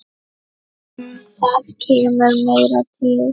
En það kemur meira til.